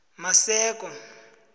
maseko